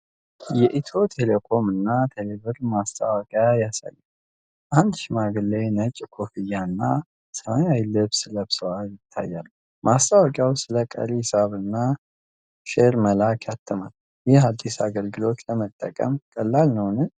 የኢትዮ ቴሌኮም እና ቴሌብር ማስታወቂያ ያሳያል። አንድ ሽማግሌ ነጭ ኮፍያና ሰማያዊ ልብስ ለብሰው ይታያሉ። ማስታወቂያው ስለ ቀሪ ሒሳብና ሸር መላክ ያትማል። ይህ አዲስ አገልግሎት ለመጠቀም ቀላል ነው?